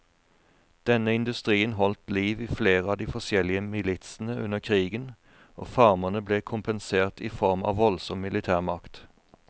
Denne industrien holdt liv i flere av de forskjellige militsene under krigen, og farmerne ble kompensert i form av voldsom militærmakt.